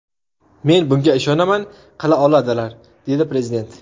Men bunga ishonaman qila oladilar”, dedi prezident.